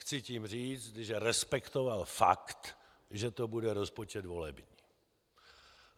Chci tím říct, že respektoval fakt, že to bude rozpočet volební.